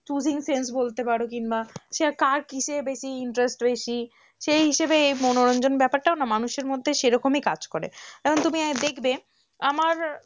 choosing sense বলতে পারো কিংবা সে কার কিসে বেশি interest বেশি সেই হিসেবেএই মনোরঞ্জন ব্যাপারটাও না মানুষের মধ্যে সেরকমই কাজ করে, যেমন তুমি দেখবে আমার,